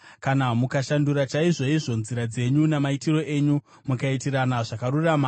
Kana mukashandura chaizvoizvo nzira dzenyu namaitiro enyu mukaitirana zvakarurama,